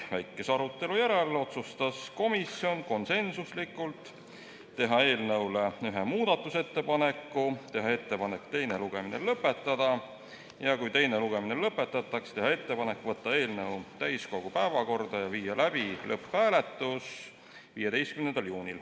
Väikese arutelu järel otsustas komisjon konsensuslikult teha eelnõu kohta ühe muudatusettepaneku, lisaks teha ettepanek teine lugemine lõpetada ja kui teine lugemine lõpetatakse, teha ettepanek võtta eelnõu täiskogu päevakorda ja viia läbi lõpphääletus 15. juunil.